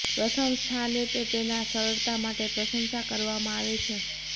પ્રથમ સ્થાને તે તેના સરળતા માટે પ્રશંસા કરવામાં આવે છે